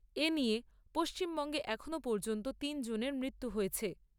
এ নিয়ে পশ্চিমবঙ্গে এখনো পর্যন্ত তিনজনের মৃত্যু হয়েছে।